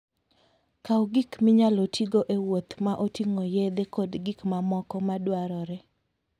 Kaw gik minyalo tigo e wuoth ma oting'o yedhe kod gik mamoko madwarore.